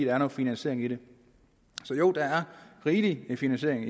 er noget finansiering i det og så jo der er rigelig med finansiering